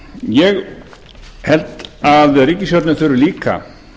ég held að ríkisstjórnin þurfi líka